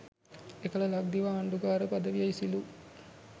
එකල ලක්දිව ආණ්ඩුකාර පදවිය ඉසිලු